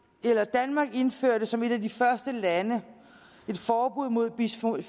danmark indførte som et af de første lande et forbud mod bisfenol